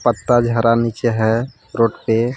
पत्ता झरा नीचे है रोड पे।